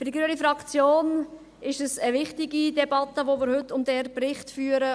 Für die grüne Fraktion ist es eine wichtige Debatte, die wir heute über diesen Bericht führen.